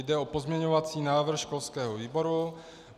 Jde o pozměňovací návrh školského výboru.